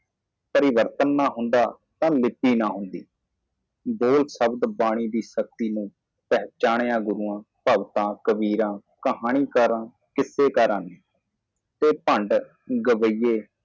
ਜੇ ਕੋਈ ਤਬਦੀਲੀ ਨਹੀਂ ਹੈ ਤਾਂ ਮਿੱਟੀ ਨਹੀਂ ਹੈ ਬੋਲਣ ਦੀ ਸ਼ਕਤੀ ਲਈ ਸ਼ਬਦ ਗੁਰੂ ਕਬੀਰ ਨੂੰ ਪਛਾਣਿਆ ਸ਼ਰਧਾਲੂ ਕਹਾਣੀ ਦੱਸਣ ਵਾਲਾ ਉਹ ਜੋਕਰ ਗਾਇਕ